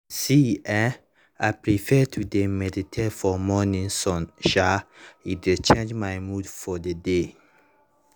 see[um]i prefer to dey meditate for morning sun um e dey charge my mood for the day